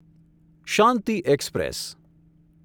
Shanti express